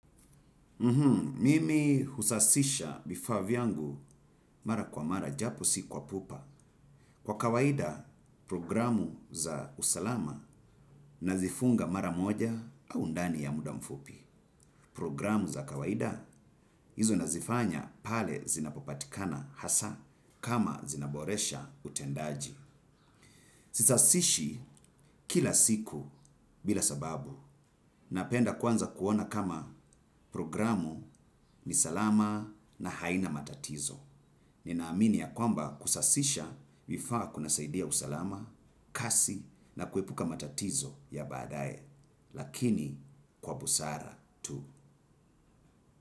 Mimi husafisha vifaa vyangu mara kwa mara japo si kwa pupa. Kwa kawaida programu za usalama nazifunga mara moja au undani ya muda mfupi. Programu za kawaida hizo nazifanya pale zinapopatikana hasa kama zinaboresha utendaji. Sisasishi kila siku bila sababu. Napenda kwanza kuona kama programu ni salama na haina matatizo. Ninaamini ya kwamba kusasisha vifaa kunasaidia usalama, kasi na kuepuka matatizo ya badae. Lakini kwa busara tu.